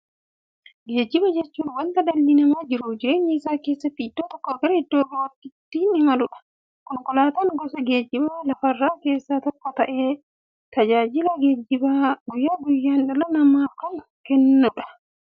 Geejjiba jechuun wanta dhalli namaa jiruuf jireenya isaa keessatti iddoo tokkoo gara iddoo birootti ittiin imaluudha. Konkolaatan gosa geejjibaa lafarraa keessaa tokko ta'ee, tajaajila geejjibaa guyyaa guyyaan dhala namaaf kenna.